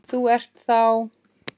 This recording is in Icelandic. Þú ert þá.?